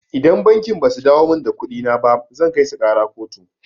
Idan bankin basu dawo min da kuɗina ba zan kaisu ƙara kotu.